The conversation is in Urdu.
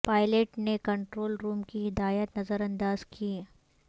پائلٹ نے کنٹرول روم کی ہدایات نظر انداز کیں